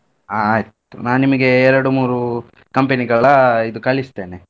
ಹಾ ಆಯ್ತ್ ನಾನ್ ನಿಮ್ಗೆ ಎರಡು ಮೂರೂ company ಗಳ ಇದು ಕಳಿಸ್ತೇನೆ.